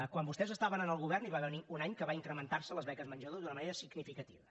quan vostès estaven en el govern hi va haver un any que van incrementarse les beques menjador d’una manera significativa